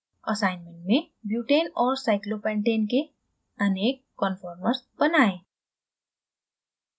assignment में butane और cyclopentane के अनेक कन्फॉरमर्स बनाएं